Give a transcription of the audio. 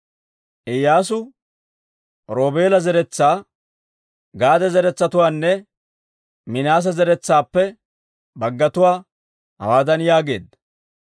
Iyyaasu, Roobeela zeretsaa, Gaade zaratuwaanne Minaase zaratuwaappe baggatuwaa hawaadan yaageedda;